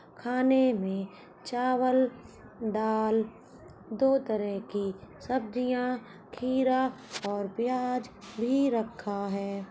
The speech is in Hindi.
खाने में चावल दाल दो तरह की सब्जियाँ खीरा और प्याज भी रखा है।